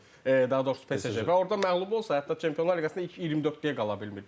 Daha doğrusu PSJ və orda məğlub olsa hətta Çempionlar Liqasında ilk 24-dəyə qala bilmir.